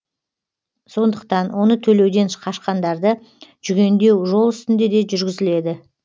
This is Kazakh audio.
сондықтан оны төлеуден қашқандарды жүгендеу жол үстінде де жүргізіледі